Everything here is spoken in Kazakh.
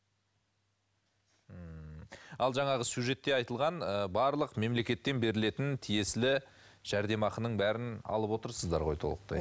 ммм ал жаңағы сюжетте айтылған ы барлық мемлекеттен берілетін тиесілі жәрдемақының бәрін алып отырсыздар ғой толықтай